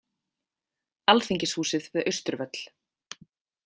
Alþingishúsið við Austurvöll.